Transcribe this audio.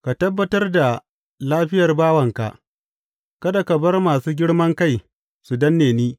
Ka tabbatar da lafiyar bawanka; kada ka bar masu girman kai su danne ni.